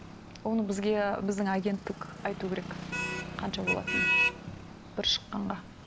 оны бізге біздің агенттік айту керек қанша болатынын бір шыққанға